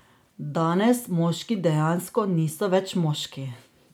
Danes moški dejansko niso več moški!